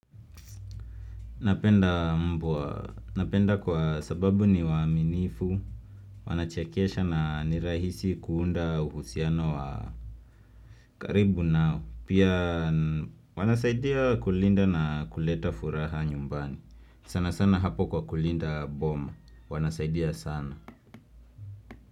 Napenda mbwa. Napenda kwa sababu ni waaminifu. Wanachekesha na nirahisi kuunda uhusiano wa karibu nao. Pia wanasaidia kulinda na kuleta furaha nyumbani. Sana sana hapo kwa kulinda boma. Wanasaidia sana.